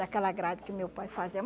Daquela grade que o meu pai fazia.